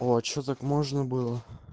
о а что так можно было